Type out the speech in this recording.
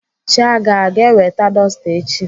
Chiaga aga eweta dọsta echi?